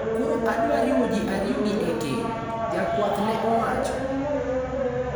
Koro adwa riwo ji ariyogi e keny, jakwath ne owacho.